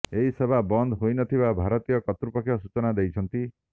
ଏହି ସେବା ବନ୍ଦ ହୋଇନଥିବା ଭାରତୀୟ କର୍ତ୍ତୃପକ୍ଷ ସୂଚନା ଦେଇଛନ୍ତି